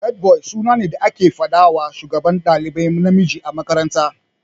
Headboy suna ne da ake fadawa Shugaban dalibai namiji a makaranta.